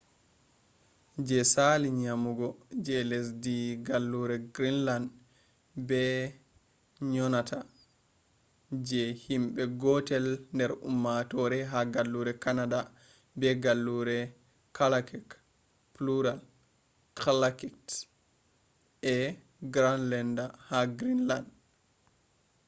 je asali nyinugo je lesdhi gallure greenland be nyonata je hinbe gotel der ummatore ha gallure canada be gallure kalaalleq plural kalaallit e greenlander ha greenland